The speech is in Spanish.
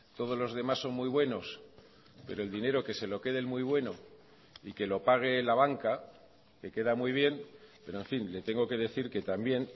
todos los demás son muy buenos pero el dinero que se lo quede el muy bueno y que lo pague la banca que queda muy bien pero en fin le tengo que decir que también